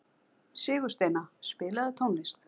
Sigursteina, spilaðu tónlist.